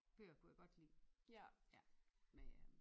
Bøger kunne jeg godt lide med øh